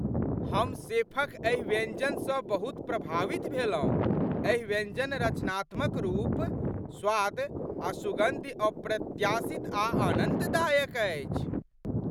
हम शेफ क एहि व्यञ्जनसँ बहुत प्रभावित भेलहुँ, एहि व्यञ्जनकरचनात्मक रूप , स्वाद आ सुगन्धि अप्रत्याशित आ आनन्ददायक अछि।